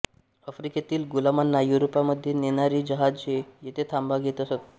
आफ्रिकेतील गुलामांना युरोपामध्ये नेणारी जहाजे येथे थांबा घेत असत